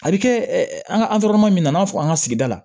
A bɛ kɛ an ka min na i n'a fɔ an ka sigida la